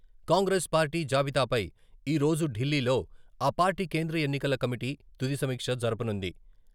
Congress party జాబితాపై ఈరోజు ఢిల్లీలో ఆ పార్టీ కేంద్ర ఎన్నికల కమిటీ తుది సమీక్ష జరపనుంది.